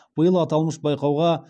биыл аталмыш байқауға